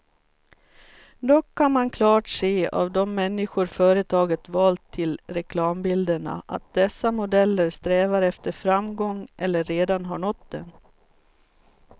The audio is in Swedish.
Dock kan man klart se av de människor företaget valt till reklambilderna, att dessa modeller strävar efter framgång eller redan har nått den.